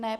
Ne.